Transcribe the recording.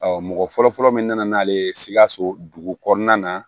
Ɔ mɔgɔ fɔlɔfɔlɔ min nana n'ale ye sikaso dugu kɔnɔna na